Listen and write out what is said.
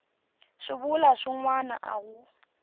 swivulwa swin wana a wu